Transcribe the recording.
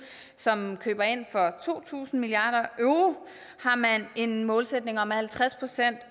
som køber ind for to tusind milliarder euro har man en målsætning om at halvtreds procent